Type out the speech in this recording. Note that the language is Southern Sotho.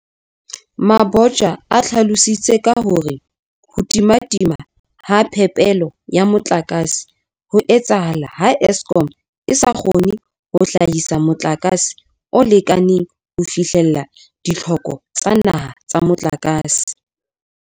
Mabotja o hlalositse ka hore ho timatima ha phepelo ya motlakase ho etsahala ha Eskom e sa kgone ho hlahisa motlakase o lekaneng ho fihlella ditlhoko tsa naha tsa motlakase.